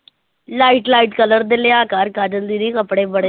Light light color ਦੇ ਲਿਆ ਕਰ ਕਾਜਲ ਦੀਦੀ ਕੱਪੜੇ ਬੜੇ,